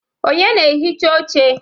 Onye na-ehicha oche?